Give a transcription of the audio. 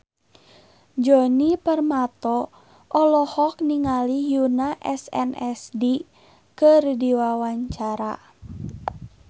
Djoni Permato olohok ningali Yoona SNSD keur diwawancara